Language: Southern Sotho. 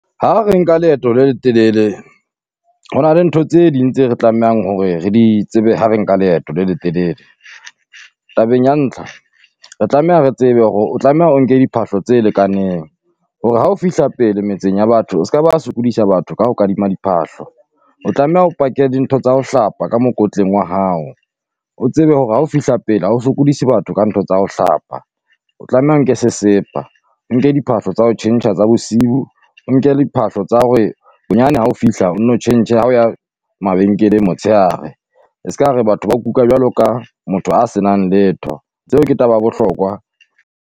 Ha re nka leeto le letelele, ho na le ntho tse ding tse re tlamehang hore re di tsebe ha re nka leeto le letelele. Tabeng ya ntlha, re tlameha re tsebe hore o tlameha o nke diphahlo tse lekaneng, hore hao fihla pele metseng ya batho o se ka ba sokodisa batho ka ho kadima diphahlo. O tlameha o pake dintho tsa ho hlapa ka mokotleng wa hao, o tsebe hore ha o fihla pele ha o sokodise batho ka ntho tsa ho hlapa. O tlameha o nke sesepa, o nke diphahlo tsa ho tjhentjha tsa bosiu, o nke liphahlo tsa hore bonyane ha o fihla o nno tjhentjhe ha o ya mabenkeleng motshehare. E se ka re batho bao kuka jwalo ka motho a senang letho, tseo ke taba ya bohlokwa.